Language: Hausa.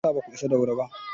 Me ya sa baku isa da wuri ba?